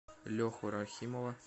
леху рахимова